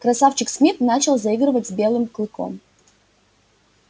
красавчик смит начал заигрывать с белым клыком